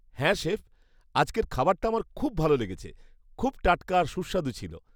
হ্যাঁ, শেফ, আজকের খাবারটা আমার খুব ভালো লেগেছে। খুব টাটকা আর সুস্বাদু ছিল।